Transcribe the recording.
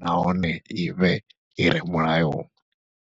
nahone ivhe ire mulayoni.